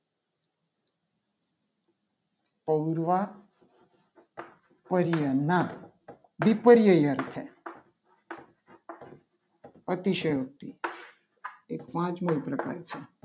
સૌર માં પર્યમા વિપર્ય છે. અતિશયોક્તિ એ પાંચ મો પ્રકાર છે.